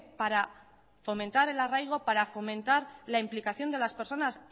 para fomentar el arraigo para fomentar la implicación de las personas